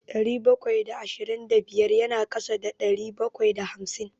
Ɗari bakwai da ashirin da biyar na ƙasa da ɗari bakwai da hamsin.